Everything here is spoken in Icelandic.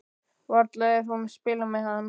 Varla er hún að spila með hann?